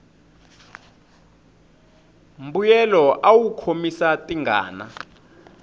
mbuyelo awu khomisa tingana